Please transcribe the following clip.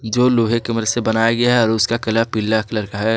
जो लोहे के मदद से बनाया गया है और उसका कलर पीला कलर का है।